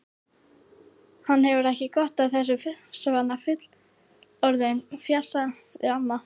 Hann hefur ekki gott af þessu svona fullorðinn, fjasaði amma.